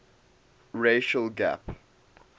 racial gap